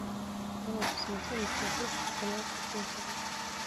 дай я посмотрю на смотрешке канал кухня тв